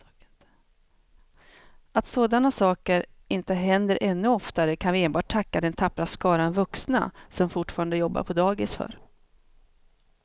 Att sådana saker inte händer ännu oftare kan vi enbart tacka den tappra skara vuxna som fortfarande jobbar på dagis för.